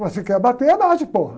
Mas se quer abater, abate.